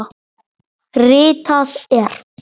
Ritað er